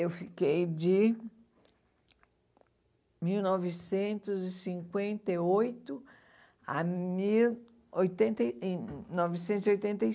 Eu fiquei de mil novecentos e cinquenta e oito a mil oitenta e novecentos e oitenta e